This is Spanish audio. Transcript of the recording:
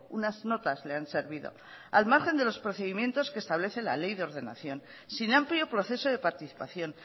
unas notas le han servido al margen de los procedimientos que establece la ley de ordenación sin amplio proceso de participación